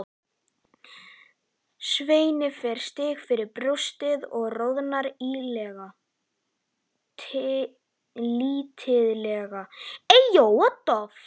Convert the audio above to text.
Svenni fær sting fyrir brjóstið og roðnar lítillega.